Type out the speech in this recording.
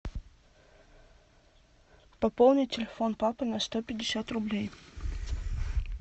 пополнить телефон папы на сто пятьдесят рублей